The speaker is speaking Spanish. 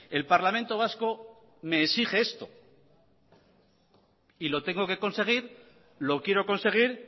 el parlamento vasco me exige esto y lo tengo que conseguir lo quiero conseguir